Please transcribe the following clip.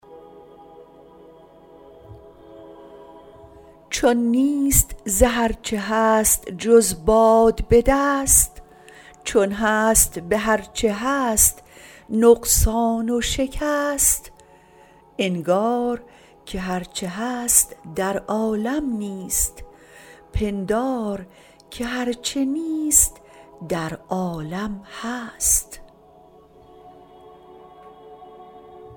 چون نیست ز هر چه هست جز باد به دست چون هست به هر چه هست نقصان و شکست انگار که هر چه هست در عالم نیست پندار که هر چه نیست در عالم هست